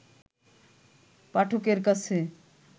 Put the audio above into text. পাঠকের কাছে